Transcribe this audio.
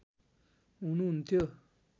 हुनुहुन्थ्यो